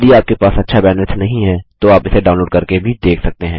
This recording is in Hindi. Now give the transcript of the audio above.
यदि आपके पास अच्छा बैंडविड्थ नहीं है तो आप इसे डाउनलोड करके भी देख सकते हैं